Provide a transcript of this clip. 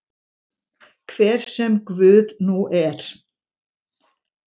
Hver sem Guð nú er.